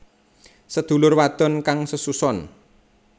Sedulur wadon kang sesuson